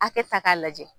Hakɛ ta k'a lajɛ